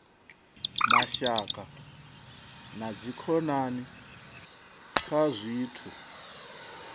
mashaka na dzikhonani kha zwithu